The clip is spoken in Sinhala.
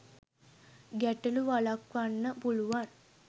ගැට‍ළු වළක්වන්න පුළුවන්.